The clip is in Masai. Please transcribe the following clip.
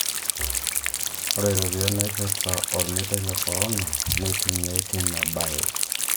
Ore iropiyiani naipirta ormeitai le Corona neitumia tina bae